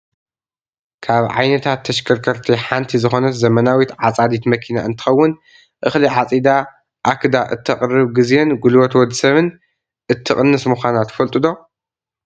ካብ ዓይነታት ተሽከርከርቲ ሓንቲ ዝኮነት ዘመናዊት ዓፃዲት መኪና እንትከውን፤ እክሊ ዓፂዳ ኣክዳ እተቅርብ ግዜን ጉልበት ወዲ ሰብን እትቅንስ ምኳና ትፈልጡ ዶ ?